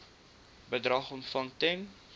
bedrag ontvang ten